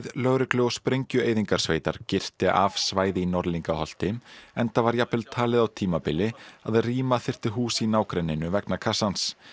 lögreglu og sprengjueyðingarsveitar girti af svæði í Norðlingarholti enda var jafnvel talið á tímabili að rýma þyrfti hús í nágrenninu vegna kassans